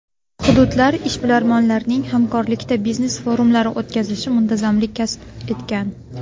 Hududlar ishbilarmonlarining hamkorlikda biznes forumlar o‘tkazishi muntazamlik kasb etgan.